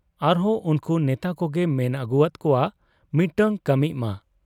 ᱟᱨᱦᱚᱸ ᱩᱱᱠᱩ ᱵᱮᱛᱟ ᱠᱚᱜᱮ ᱢᱮᱱ ᱦᱜᱩᱭᱟᱫ ᱠᱚᱣᱟ ᱢᱤᱫᱴᱟᱹᱝ ᱠᱟᱹᱢᱤᱜ ᱢᱟ ᱾